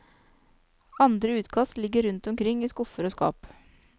Andre utkast ligger rundt omkring i skuffer og skap.